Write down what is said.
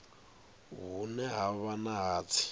hune ha vha na hatsi